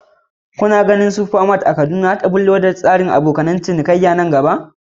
Kuna ganin supermarts a Kaduna za su ɓullo da tsarin farashi mai dacewa da abokan ciniki nan gaba?